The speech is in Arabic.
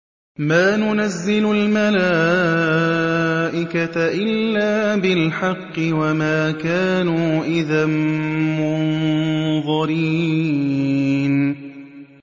مَا نُنَزِّلُ الْمَلَائِكَةَ إِلَّا بِالْحَقِّ وَمَا كَانُوا إِذًا مُّنظَرِينَ